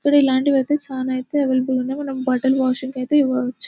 ఇలాంటివి అయితే చాలా అవైలబుల్ ఉన్నాయి మనం బట్టలు వాషింగ్ కైతే ఇవ్వవచ్చు.